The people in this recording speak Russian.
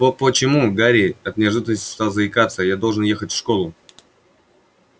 по-по-почему гарри от неожиданности стал заикаться я должен ехать в школу